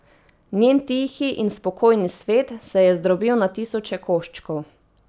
Njen tihi in spokojni svet se je zdrobil na tisoče koščkov.